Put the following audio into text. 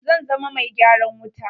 Zan zama mai gyaran wuta.